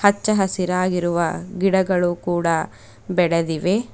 ಹಚ್ಚ ಹಸಿರಾಗಿರುವ ಗಿಡಗಳು ಕೂಡ ಬೆಳೆದಿವೆ.